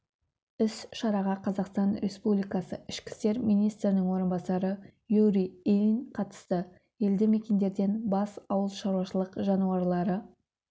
іс-шараға қазақстан республикасы ішкі істер министрінің орынбасары юрий ильин қатысты елді мекендерден бас ауыл шаруашылық жануарлары